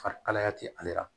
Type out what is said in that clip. Farikalaya tɛ ale la